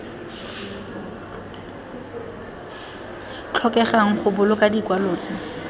tlhokegang go boloka dikwalo tse